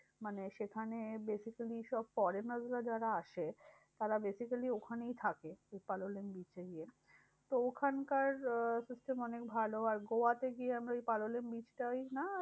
মানে সেখানে basically সব foreigner রা যারা আসে, তারা basically ওখানেই থাকে। সেই পালোলেম beach এ গিয়ে। তো ওখানকার আহ system অনেক ভালো। আর গোয়াতে গিয়ে আমরা ওই পালোলেম beach টায় হ্যাঁ